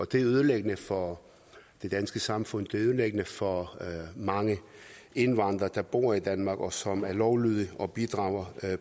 det er ødelæggende for det danske samfund det er ødelæggende for mange indvandrere der bor i danmark og som er lovlydige og bidrager